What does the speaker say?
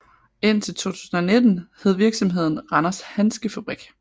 Indtil 2019 hed virksomheden Randers Handskefabrik